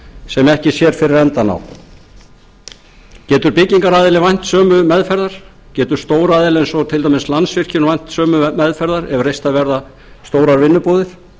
sem ekki sér fyrir endann á getur byggingaraðili vænst sömu meðferðar getur stór aðili eins og til dæmis landsvirkjun vænst sömu meðferðar ef reistar verða stórar vinnubúðir